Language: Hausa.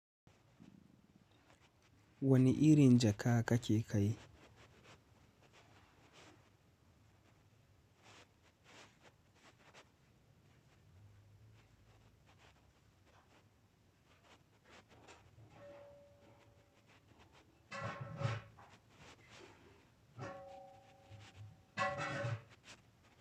Wani irin jaka kake kai?